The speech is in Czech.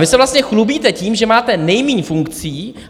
Vy se vlastně chlubíte tím, že máte nejmíň funkcí.